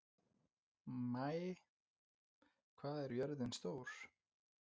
Maia, hvað er jörðin stór?